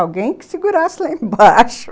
Alguém que segurasse lá embaixo